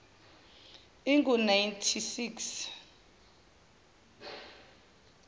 ingu nineteen six